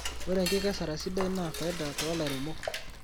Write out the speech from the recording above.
Ore enkikesare sidai naa faida tolairemok.